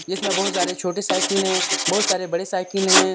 इसमें बहुत सारे छोटी साइकिल हैं बहुत सारे बड़े साइकिल हैं।